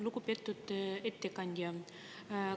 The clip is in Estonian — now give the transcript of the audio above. Lugupeetud ettekandja!